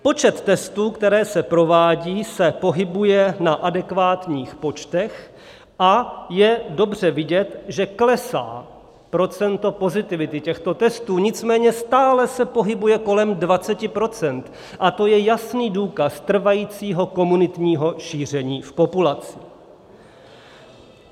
Počet testů, které se provádějí, se pohybuje na adekvátních počtech a je dobře vidět, že klesá procento pozitivity těchto testů, nicméně stále se pohybuje kolem 20 % a to je jasný důkaz trvajícího komunitního šíření v populaci.